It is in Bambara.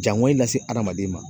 Jango in lase hadamaden ma